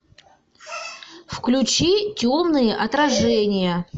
включи темные отражения